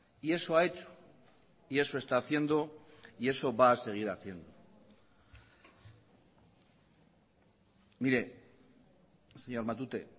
y eso ha hecho y eso está haciendo y eso va a seguir haciendo mire señor matute